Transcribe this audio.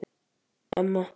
Emma